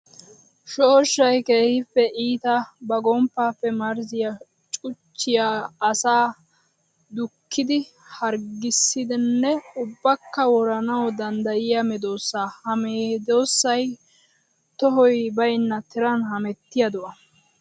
Shooshshay keehippe iitta ba gomppappe marzziya cuchchiya asaa dukkiddi harggisdanna ubbakka woranawu danddayiya medosa. Ha medisay tohoy baynna tiran hemettiya do'a.